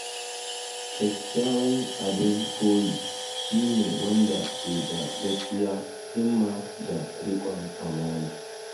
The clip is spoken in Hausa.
Kyakkyawan abin koyi shi ne wanda ke da gaskiya, himma, da rikon amana.